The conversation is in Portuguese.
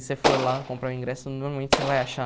Se você for lá comprar o ingresso, normalmente você vai achar.